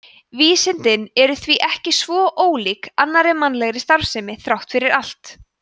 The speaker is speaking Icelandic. vísindin eru því ekki svo ólík annarri mannlegri starfsemi þrátt fyrir allt